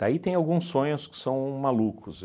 Daí tem alguns sonhos que são malucos.